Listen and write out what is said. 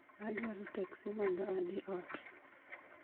Adwaro teksi mondo adhi ot